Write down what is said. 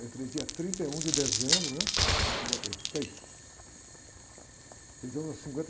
Entrei dia trinta e um de dezembro, né? De mil novecentos e cinquenta e seis. Trinta e um...